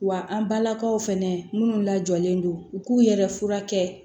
Wa an balakaw fɛnɛ minnu lajɔlen don u k'u yɛrɛ furakɛ